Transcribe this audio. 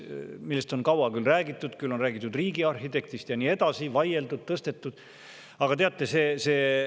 Sellest on kaua räägitud, küll on räägitud riigiarhitektist, ja nii edasi, vaieldud, tõstetud.